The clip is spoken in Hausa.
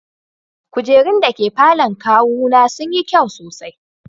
Kujerun da ke falon kawuna sun yi kyau sosai.